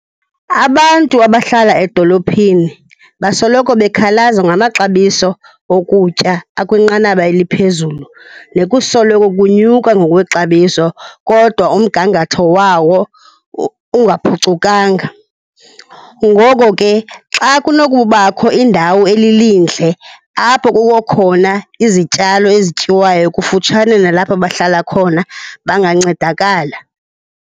Abantu abahlala edolophini basoloko bekhalaza ngamaxabiso okutya akwinqanaba eliphezulu nekusoloko kunyuka ngokwexabiso kodwa umgangatho wawo ungaphucukanga. Ngoko ke, xa kunokubakho indawo elilindle apho kukho khona izityalo ezityiwayo kufutshane nalapho bahlala khona, bangancedakala.